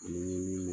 Ni min